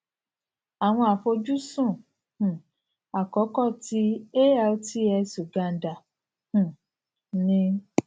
awọn afojusun um akọkọ ti altx uganda um ni